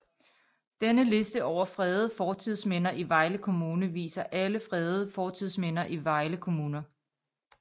Denne liste over fredede fortidsminder i Vejle Kommune viser alle fredede fortidsminder i Vejle Kommune